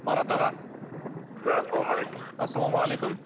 марат аға да саламалейкум ассаламағалейкум